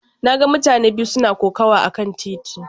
Na ga mutane biyu suna kokawa akan titi.